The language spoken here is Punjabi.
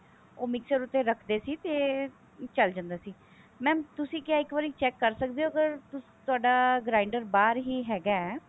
ਉਹ mixer ਉੱਤੇ ਰੱਖਦੇ ਸੀ ਤੇ ਚੱਲ ਜਾਂਦਾ ਸੀ mam ਤੁਸੀਂ ਕਿਆ ਇੱਕ ਵਾਰੀ check ਕਰ ਸਕਦੇ ਹੋ ਅਗਰ ਤੁਹਾਡਾ grinder ਬਾਹਰ ਹੀ ਹੈਗਾ